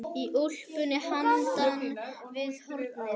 Í úlpunni handan við hornið.